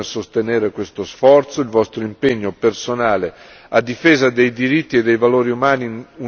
Il vostro impegno personale a difesa dei diritti e dei valori umani universali è indispensabile.